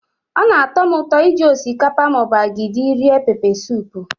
Ọ na-atọ m ụtọ iji osikapa ma ọ bụ agidi rie pepesụpụ.